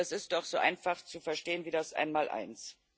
Das ist doch so einfach zu verstehen wie das Einmaleins.